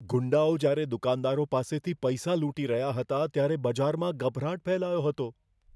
ગુંડાઓ જ્યારે દુકાનદારો પાસેથી પૈસા લૂંટી રહ્યા હતા ત્યારે બજારમાં ગભરાટ ફેલાયો હતો.